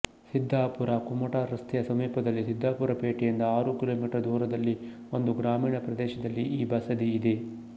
ಸಿದ್ಧಾಪುರಕುಮಟಾ ರಸ್ತೆಯ ಸಮೀಪದಲ್ಲಿ ಸಿದ್ಧಾಪುರ ಪೇಟೆಯಿಂದ ಆರು ಕಿಲೋಮೀಟರ್ ದೂರದಲ್ಲಿ ಒಂದು ಗ್ರಾಮೀಣ ಪ್ರದೇಶದಲ್ಲಿ ಈ ಬಸದಿಯಿದೆ